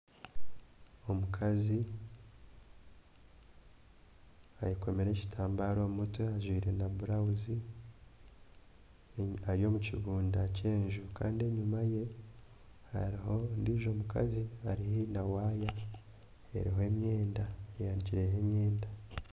Omukazi ayekomire ekitambare omu mutwe ajwaire na burawuzi eri omu kibunda ky'enju kandi enyuma ye hariho ondiijo mukazi ari haihi na waaya eriho emyenda, eyanikireho.